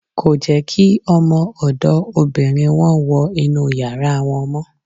Kò jẹ́ kí ọmọ ọ̀dọ̀ obìnrin wọn wọ inúu yàrá wọn mọ́.